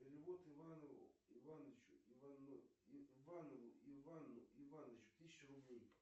перевод иванову ивану ивановичу тысячу рублей